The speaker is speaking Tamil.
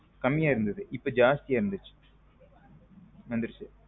கம்மிய இருந்தது இப்போ ஜாஸ்திய வந்துருச்சு.